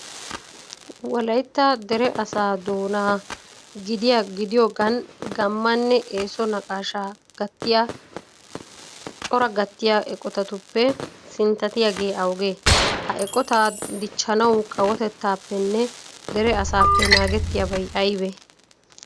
Wolaytta dere asaa doona gidiyogan gaammanne eeso naqaashaa gattiya coraa gattiya eqotatuppe sinttatiyagee awugee? Ha eqotaa dichchanawu kawotettaappenne dere asaappe naagettiyabay aybee?